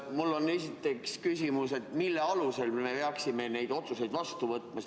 Mul on esiteks küsimus, mille alusel me peaksime neid otsuseid vastu võtma.